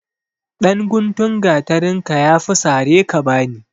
Ɗan guntun gatarinka ya fi sare ka bani.